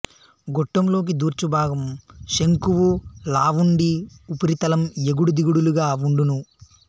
గొట్టం లోకి దూర్చుభాగం శంకువు లావుండి ఉపరితలం ఎగుడు దిగుడులుగా వుండును